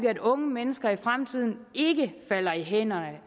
at unge mennesker i fremtiden falder i hænderne